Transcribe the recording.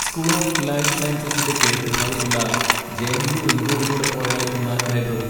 School of life സയൻസസിൻ്റെ കിഴക്കുഭാഗത്തുള്ള J. N. U ring റോഡിലൂടെ പോയാൽ എത്തുന്ന ലൈബ്രറി.